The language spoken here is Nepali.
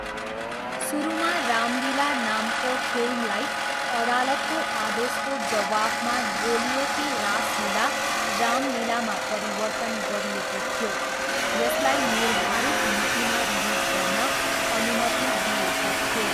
सुरुमा रामलीला नामको फिल्मलाई अदालतको आदेशको जवाफमा गोलियों की रासलीला रामलीलामा परिवर्तन गरिएको थियो, यसलाई निर्धारित मितिमा रिलिज गर्न अनुमति दिइएको थियो।